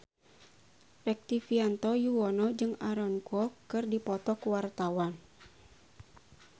Rektivianto Yoewono jeung Aaron Kwok keur dipoto ku wartawan